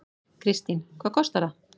Kristín: Hvað kostar það?